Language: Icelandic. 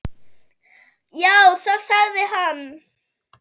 Já, það sagði hann.